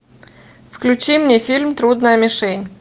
включи мне фильм трудная мишень